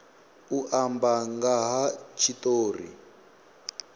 u amba nga ha tshitori